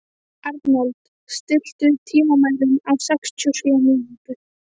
Arnold, stilltu tímamælinn á sextíu og sjö mínútur.